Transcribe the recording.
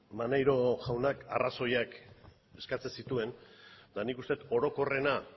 maneiro jaunak arrazoiak eskatzen zituen eta nik uste dut orokorrena